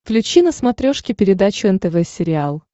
включи на смотрешке передачу нтв сериал